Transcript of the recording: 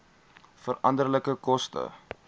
veranderlike koste